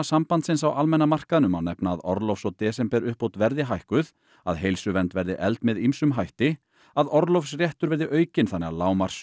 sambandsins á almenna markaðnum má nefna að orlofs og desemberuppbót verði hækkuð að heilsuvernd verði efld með ýmsum hætti að orlofsréttur verði aukinn þannig að